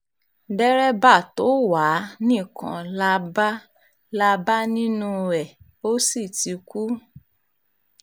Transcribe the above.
dèrèbà tó wá a nìkan là bá là bá nínú ẹ̀ ó sì ti kú